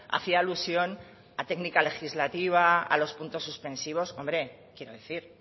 hacía alusión a técnica legislativa a los puntos suspensivos hombre quiero decir